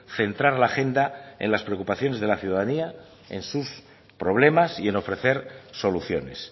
centrar la agenda en las preocupaciones de la ciudadanía en sus problemas y en ofrecer soluciones